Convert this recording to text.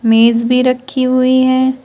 मेज भी रखी हुई है।